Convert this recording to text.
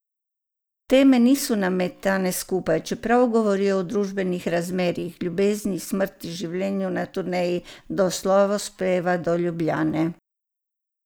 Teme niso nametane skupaj, čeprav govorijo o družbenih razmerjih, ljubezni, smrti, življenju na turneji, do slavospeva do Ljubljane.